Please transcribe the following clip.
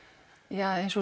ja eins og